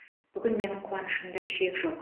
бүгін менің қуанышымда шек жоқ